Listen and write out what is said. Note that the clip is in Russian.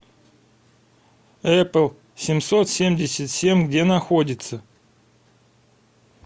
эпл семьсот семьдесят семь где находится